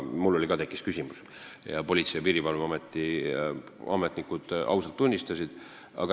Mul ka tekkis see küsimus ning Politsei- ja Piirivalveameti ametnikud ausalt seda tunnistasid.